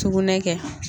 Sugunɛ kɛ